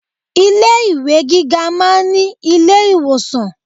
Ilé ìwé gíga máa ń ní ilé ìwòsàn.